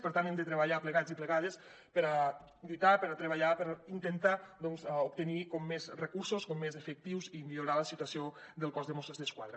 per tant hem de treballar plegats i plegades per lluitar per treballar per intentar doncs obtenir més recursos més efectius i millorar la situació del cos de mossos d’esquadra